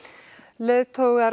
leiðtogar